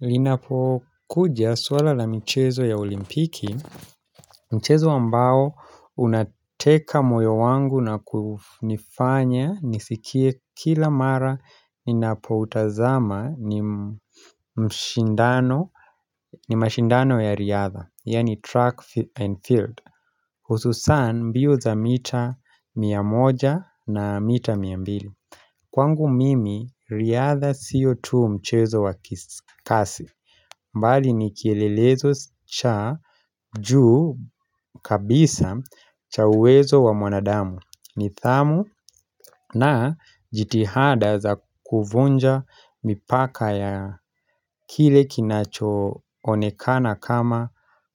Linapo kuja swala la michezo ya olimpiki Mchezo ambao unateka moyo wangu na kunifanya nisikie kila mara ninapo utazama ni mashindano ya riadha, yani track and field Ususan mbio za mita mia moja na mita mia mbili Kwangu mimi riadha sio tu mchezo wa kasi mbali ni kielelezo cha juu kabisa cha uwezo wa mwanadamu nithamu na jitihada za kuvunja mipaka ya kile kinacho onekana kama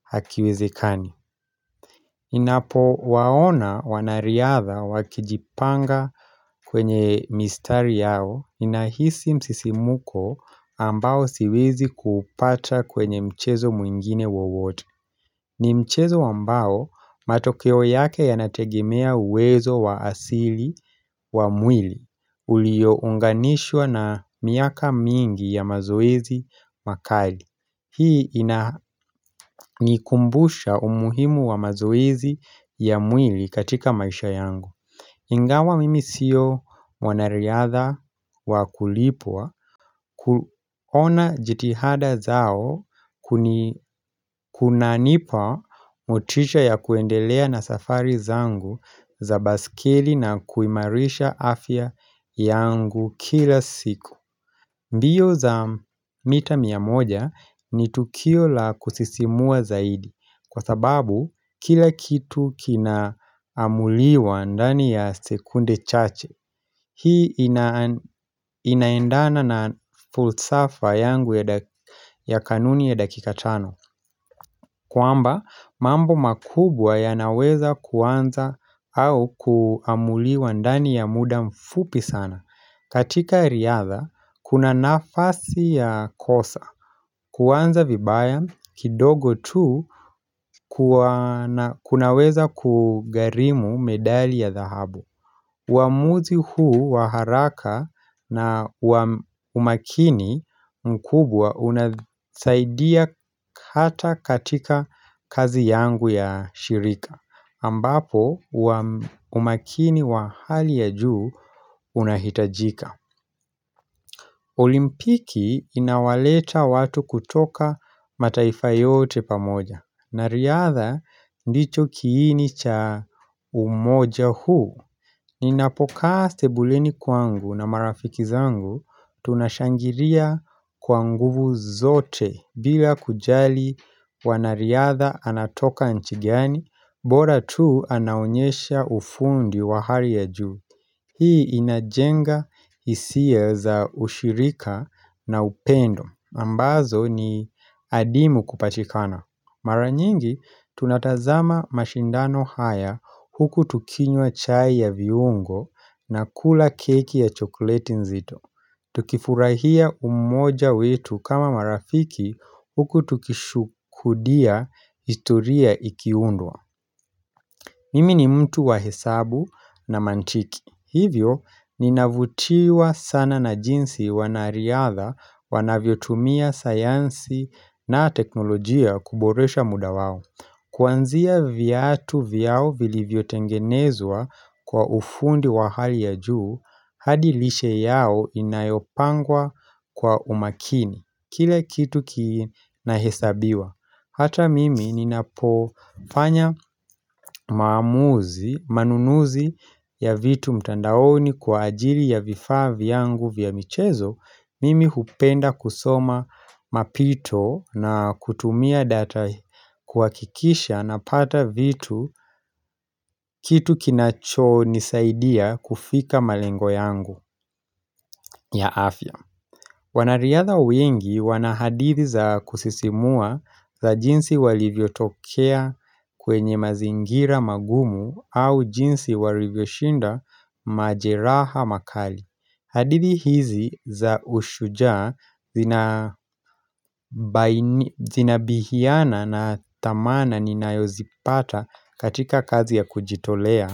hakiwezekani. Ninapowaona wanariadha wakijipanga kwenye mistari yao inahisi msisimuko ambao siwezi kupata kwenye mchezo mwingine wowote. Ni mchezo ambao matokeo yake yanategemea uwezo wa asili wa mwili uliounganishwa na miaka mingi ya mazoezi makali. Hii inanikumbusha umuhimu wa mazoezi ya mwili katika maisha yangu. Ingawa mimi sio mwanariadha wa kulipwa kuona jitihada zao kunanipa motisha ya kuendelea na safari zangu za baskeli na kuimarisha afya yangu kila siku. Mbio za mita mia moja ni tukio la kusisimua zaidi kwa sababu kila kitu kina amuliwa ndani ya sekunde chache. Hii inaendana na fulsafa yangu ya kanuni ya dakika tano. Kwamba mambo makubwa yanaweza kuanza au kuamuliwa ndani ya muda mfupi sana katika riadha kuna nafasi ya kosa kuanza vibaya kidogo tu kunaweza kugarimu medali ya dhahabu uamuzi huu wa haraka na wa umakini mkubwa unasaidia hata katika kazi yangu ya shirika ambapo umakini wa hali ya juu unahitajika olimpiki inawaleta watu kutoka mataifa yote pamoja na riadha ndicho kiini cha umoja huu Ninapokaa sebulini kwangu na marafiki zangu tunashangiria kwa nguvu zote bila kujali wanariadha anatoka nchi gani bora tu anaonyesha ufundi wa hari ya juu. Hii inajenga hisia za ushirika na upendo ambazo ni adimu kupatikana. Mara nyingi, tunatazama mashindano haya huku tukinywa chai ya viungo na kula keki ya chokleti nzito. Tukifurahia umoja wetu kama marafiki huku tukishukudia ituria ikiundwa. Mimi ni mtu wa hesabu na mantiki. Hivyo, ninavutiwa sana na jinsi wanariadha wanavyotumia sayansi na teknolojia kuboresha muda wao. Kwanzia viatu vyao vilivyotengenezwa kwa ufundi wa hali ya juu, hadi lishe yao inayopangwa kwa umakini. Kile kitu kina hesabiwa. Hata mimi ninapofanya maamuzi, manunuzi ya vitu mtandaoni kwa ajili ya vifaa vyangu vya michezo, mimi hupenda kusoma mapito na kutumia data kuhakikisha napata vitu kitu kinacho nisaidia kufika malengo yangu ya afya. Wanariadha wengi wana hadithi za kusisimua za jinsi walivyotokea kwenye mazingira magumu au jinsi walivyoshinda majeraha makali. Hadithi hizi za ushujaa zinabihiana na thamana ninayozipata katika kazi ya kujitolea.